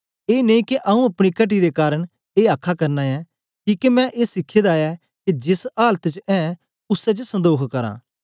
ए नेई के आऊँ अपनी घटी दे कारन ए आ आखना ऐं किके मैं ए सिखे दा ऐ के जेस आलत च ऐं उसै च संदोख करां